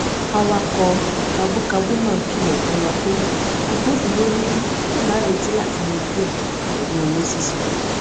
awakọ kabúkabú náà kìlọ fún wa pé agbofinró níbí lè máa retí láti yanjú ẹ pẹlú owó sísan